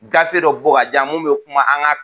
Gafe dɔ bɔ ka di yan min bɛ o kuma an ka